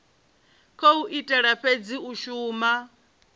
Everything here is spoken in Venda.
khou itela fhedzi u shuma